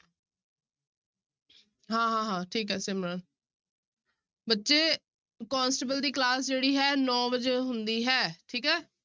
ਹਾਂ ਹਾਂ ਹਾਂ ਠੀਕ ਹੈ ਸਿਮਰਨ ਬੱਚੇ ਕੋਂਸਟੇਬਲ ਦੀ class ਜਿਹੜੀ ਹੈ ਨੋਂ ਵਜੇ ਹੁੰਦੀ ਹੈ ਠੀਕ ਹੈ।